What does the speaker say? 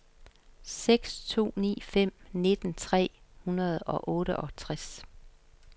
seks to ni fem nitten tre hundrede og otteogtres